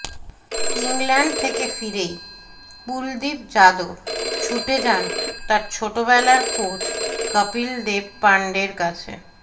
England থেকে ফিরেই কুলদীপ যাদব ছুটে যান তাঁর ছোটবেলার কোচ কপিল দেব পাণ্ডের কাছে